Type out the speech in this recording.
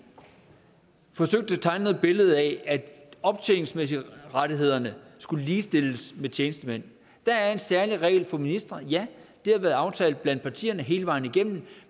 forsøgt at tegne et billede af at optjeningsrettighederne skulle ligestilles med tjenestemænds der er en særlig regel for ministre ja og det har været aftalt blandt partierne hele vejen igennem